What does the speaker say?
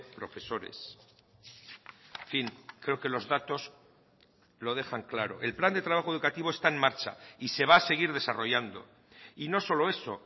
profesores en fin creo que los datos lo dejan claro el plan de trabajo educativo está en marcha y se va a seguir desarrollando y no solo eso